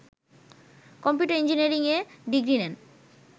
computer engineering এ degree নেন